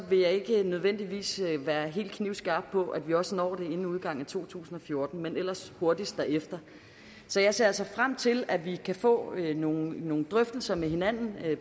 vil jeg ikke nødvendigvis være helt så knivskarp på at vi også når det inden udgangen af to tusind og fjorten men ellers hurtigst muligt derefter så jeg ser altså frem til at vi kan få nogle nogle drøftelser med hinanden